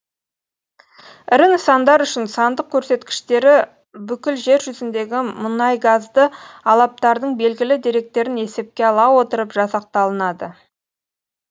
ірі нысандар үшін сандық көрсеткіштері бүкіл жер жүзіндегі мұнайгазды алаптардың белгілі деректерін есепке ала отырып жасақталынады